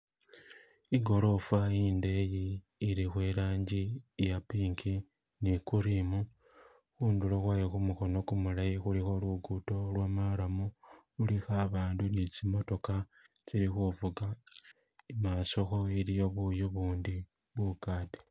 Igorofa indeyi ilikho ilangi iya pink ni cream khudulo kwayo khumukono gumulayi khilkho lugudo lo marram lulikho abandu ni tsi mootokha tsili khuvuga imaaso iliyo buyu bundi bukaade.